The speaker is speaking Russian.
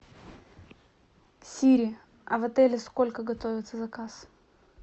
сири а в отеле сколько готовится заказ